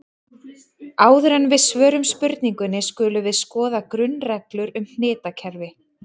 Áður en við svörum spurningunni skulum við skoða grunnreglur um hnitakerfi.